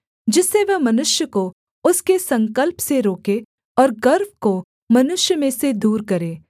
जिससे वह मनुष्य को उसके संकल्प से रोके और गर्व को मनुष्य में से दूर करे